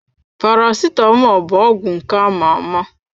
Paracetamọl bụ ọgwụ nke ama-ama.